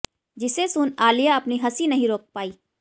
जिसे सुन आलिया अपनी हंसी नहीं रोक पाई